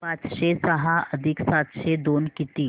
पाचशे सहा अधिक सातशे दोन किती